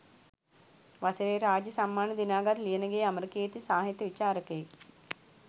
වසරේ රාජ්‍ය සම්මාන දිනාගත් ලියනගේ අමරකීර්ති සාහිත්‍ය විචාරකයෙක්